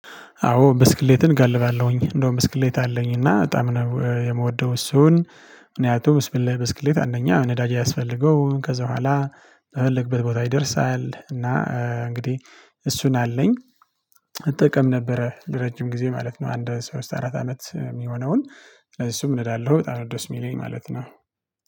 አዎ ብስክሌትን ጋልባለሁኝ እንደውም ብስክሌት አለኝ እና በጣም ነው የምወደው እሱን። ምክንያቱም ብስክሌት አንደኛ ነዳጅ ያስፈልገውም ከዛ በኋላ በፈለግንበት ቦታ ይደርሳል እና። እንግዲህ እሱን አለኝ። እጠቀም ነበረ ለረጅም ጊዜ ማለት ነው። አንድ ሶስት አራት አመት የሚሆነውን ስለዚህ እሱም እነዳለሁበጣም ደስ የሚለኝ ማለት ነው